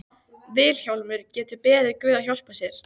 Vilhjálmur getur beðið guð að hjálpa sér.